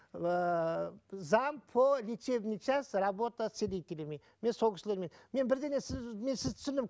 ыыы зам по лечебный часть работа с целителями мен сол кісілермен мен бірдеңе сіз мен сізді түсіндім